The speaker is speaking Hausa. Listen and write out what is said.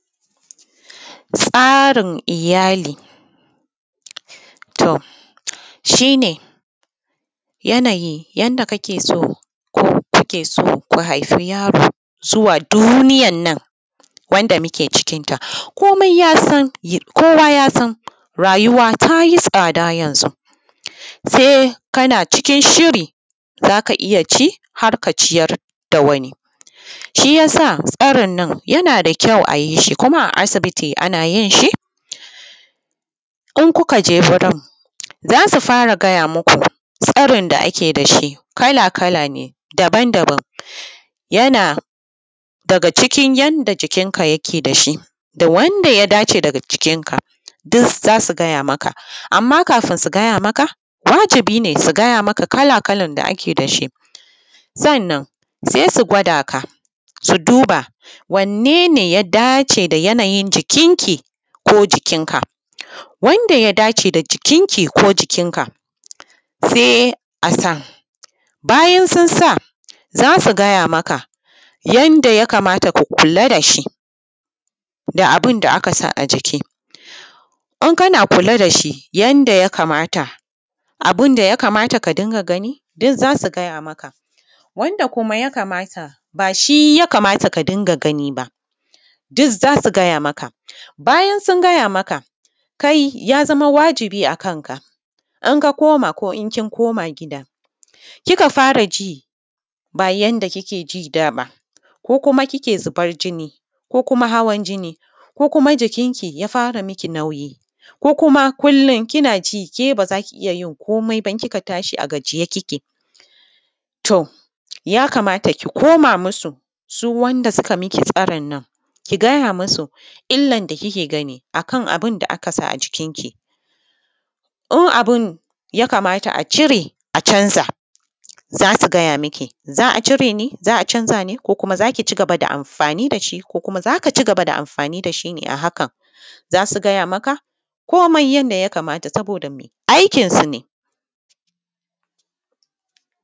Tsarin iyali. To, shi ne, yanayi yanda kake so, ko kuke so ku haifi yaro zuwa duniyar nan, wanda muke cikinta. Komai ya san, kowa ya san rayuwa ta yi tsada yanzu. Sai kana cikin shiri za ka iya ci, har ka ciyar da wani. Shi ya sa tsarin nan yana da kyau a yi shi, kuma a aibiti ana yin shi. In kuka je gurin, za su fara gaya muku tsarin da ake da shi, kala-kala ne daban-daban. Yana daga cikin yanda jikinka yake da shi da wanda ya dace daga jikinka, duk za su gaya maka. Amma kafin su gaya maka, wajibi ne su gaya maka kala-kalan da ake da shi. Sannan sai su gwada ka, su duba wanne ne ya dace da yanayin jikinki, ko jikinka? Wanda ya dace da jikinki ko jikinka, sai a sa. Bayan sun sa, za su gaya maka yanda ya kamata ka kula da shi, da abun da aka sa a jiki. In kana kula da shi yanda ya kamata, abun da ya kamata ka dinga gani, duk za su gaya maka. Wanda kuma ya kamata, ba shi ya kamata ka dinga gani ba, duk za su gaya maka. Bayan sun gaya maka, kai ya zama wajibi a kanka, in ka koma ko in kin koma gida, kika fara ji ba yanda kike ji da ba; ko kuma kike zubar jini; ko kuma hawan jini; ko kuma jikinki ya fara miki nauyi; ko kuma kullum kina ji ke ba za ki iya yin komai ba, kika tashi a gajiye kike, to, ya kamata ki koma musu, su wanda suka miki tsarin nan, ki gaya musu illan da kike gani a kan abun da aka sa a jikinki. In abun ya kamata a cire a canza, za su gaya miki, za a cire ne? za a canza ne? ko kuma za ki ci gaba da amfani da shi, ko kuma za ka ci gaba da amfani da shi ne a hakan? Za su gaya maka, komai yanda ya kamata saboda aikinsu ne.